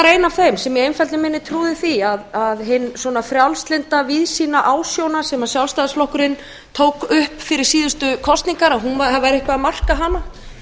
ein af þeim sem í einfeldni minni trúði því að hin frjálslynda víðsýnu ásjónu sem sjálfstæðisflokkurinn tók upp fyrir síðustu kosningar það væri eitthvað að marka hana